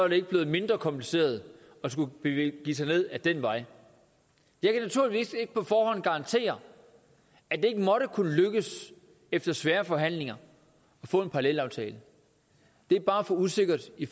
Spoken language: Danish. ikke blevet mindre kompliceret at skulle begive sig ned ad den vej jeg kan naturligvis ikke på forhånd garantere at det ikke måtte kunne lykkes efter svære forhandlinger at få en parallelaftale det er bare for usikkert i